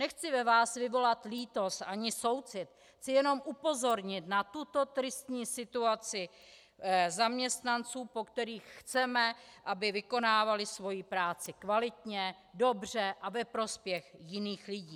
Nechci ve vás vyvolat lítost ani soucit, chci jenom upozornit na tuto tristní situaci zaměstnanců, po kterých chceme, aby vykonávali svoji práci kvalitně, dobře a ve prospěch jiných lidí.